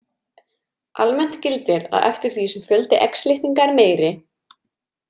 Almennt gildir að eftir því sem fjöldi X litninga er meiri.